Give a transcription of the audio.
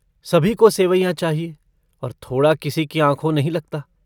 सभी को सेंवेयाँ चाहिए और थोड़ा किसी की आँखों नहीं लगता।